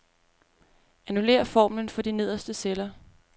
Annullér formlen for de nederste celler.